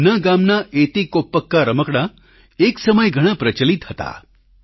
તેમના ગામના એતીકોપ્પકા રમકડાં એક સમયે ઘણાં પ્રચલિત હતા